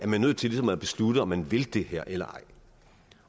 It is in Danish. man nødt til ligesom at beslutte om man vil det her eller ej